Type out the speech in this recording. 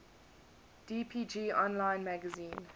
dpg online magazine